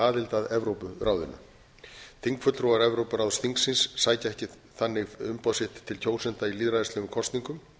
aðild að evrópuráðinu þingfulltrúar evrópuráðsþingsins sækja þannig ekki umboð sitt til kjósenda í lýðræðislegum kosningum